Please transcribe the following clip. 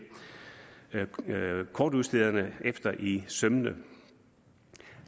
kortudstederne efter i sømmene